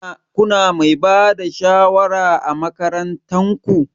Kuna Mai Bada shawara ã makarantan ku?